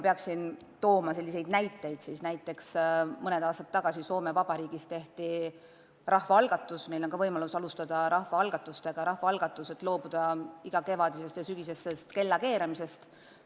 Kui tuua üks selline näide, siis mõni aasta tagasi tehti Soome Vabariigis rahvaalgatus – meilgi on võimalik korraldada rahvaalgatus – loobuda igakevadisest ja -sügisesest kellakeeramisest.